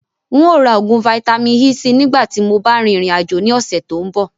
Ǹ ó ra oògùn Vitamin-E síí nìgbà tíì mo bá rìn ìrìn àjò ni ọ̀sẹ̀ tòun bọ̀